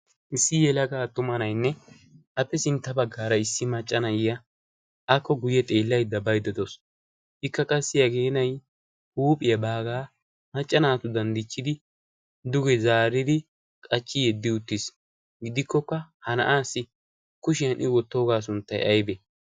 issi yelagaa tumanainne appe sintta baggaara issi maccanayya akko guyye xeellaidda baiddedoos ikka qassi hageenai huuphiyaa baagaa macca naatu danddichchidi duge zaaridi qachchi yeddi uttiis gidikkokka ha na'aassi kushiyan i wottoogaa sunttai aybe?